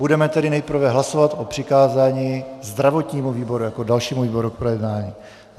Budeme tedy nejprve hlasovat o přikázání zdravotnímu výboru jako dalšímu výboru k projednání.